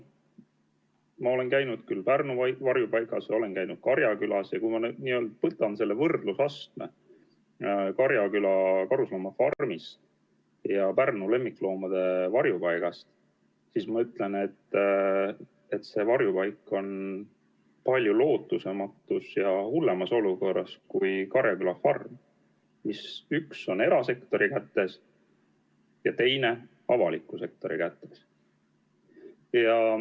Ma olen käinud Pärnu varjupaigas ja olen käinud Karjakülas ja kui ma võrdlen Karjaküla karusloomafarmi ja Pärnu lemmikloomade varjupaika, siis ma ütlen, et see varjupaik on palju lootusetumas ja hullemas olukorras kui Karjaküla farm, millest üks on erasektori kätes ja teine avaliku sektori kätes.